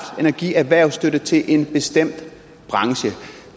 end at give erhvervsstøtte til en bestemt branche